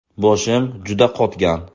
Boshim juda qotgan.